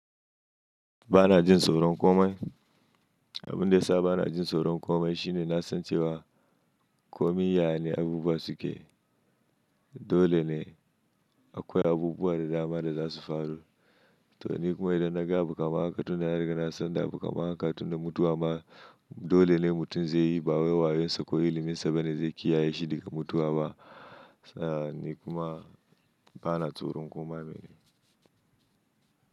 Ba na jin tsoron komai. Abin da ya sa ba na jin tsoron komai shine na san cewa komai yaya ne abubuwa suke. Dole ne akwai abubuwa da dama da za su faru. To ni kuma idan na ga abu kamar haka tunda na riga na san da abu kamar haka tunda mutuwa ma dole ne mutum zai yi. Bawai wayon sa ko ilimin sa bane zai kiyaye shi daga mutuwa ba. Sa ni kuma ba na tsoron koma mene.